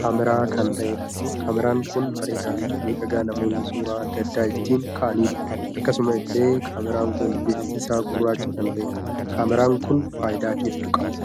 kaameera kan taheedha. kaameeraan kun bareedaa Fi miidhagaa namoonni suuraa addaa addaa ittiin kaa'aniidha. akkasuma illee kaameraan kun bifti isaa gurraachaa kan taheedha. kaameeraan kun faayidaa hedduu qaba.